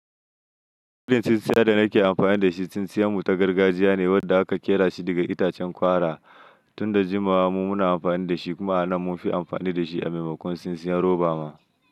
Tsinsiya da nake anfani dashi tsintsiyan mu ta gargajiya ne wadda aka kerashi daga itacen kwara. Tun da jimawa mu muna amfani da shi kuma a nan mun fi amfani da shi a maimakon tsintsiyar roba ma.